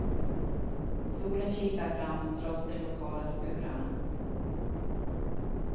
Solen kikar fram, trots de lokala skurarna.